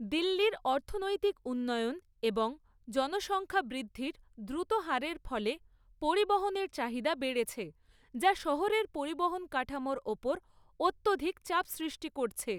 দিল্লির অর্থনৈতিক উন্নয়ন এবং জনসংখ্যা বৃদ্ধির দ্রুত হারের ফলে পরিবহনের চাহিদা বেড়েছে, যা শহরের পরিবহন পরিকাঠামোর ওপর অত্যধিক চাপ সৃষ্টি করেছে।